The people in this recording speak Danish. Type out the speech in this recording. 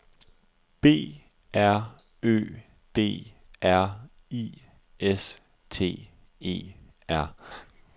B R Ø D R I S T E R